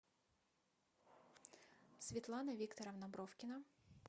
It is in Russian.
светлана викторовна бровкина